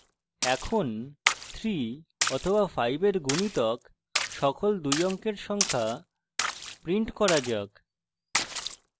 এখন 3 অথবা 5 এর গুণিতক সকল দুই অঙ্কের সংখ্যা print করা যাক